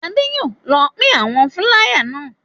Adé yóò lọ pín àwọn fúláyà náà.